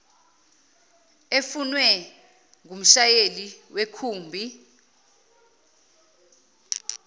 efunwe ngumshayeli wekhumbi